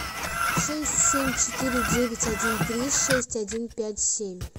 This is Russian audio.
шесть семь четыре девять один три шесть один пять семь